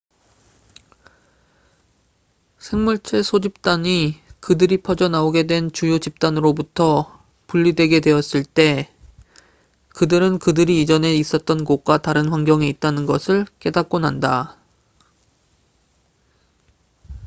생물체 소집단적은 개체 수이 그들이 퍼져 나오게 된 주요 집단으로부터 분리되게 되었을 때산맥 또는 강으로 옮겨가게 되거나 혹은 새로운 섬으로 옮겨가게 되어 쉽게 움직일 수 없을 때 그들은 그들이 이전에 있었던 곳과 다른 환경에 있다는 것을 깨닫곤 한다